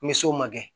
Ni sow ma kɛ